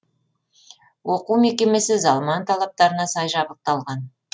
оқу мекемесі заман талаптарына сай жабдықталған